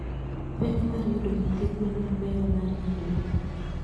Pek mar yudo nyithi gwen mabeyo mar nyaluo.